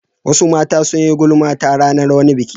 Wasu mata sun yi gulma ta ranar wani biki.